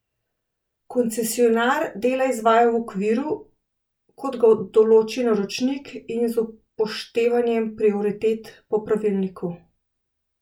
Koncesionar dela izvaja v okviru, kot ga določi naročnik, in z upoštevanjem prioritet po pravilniku.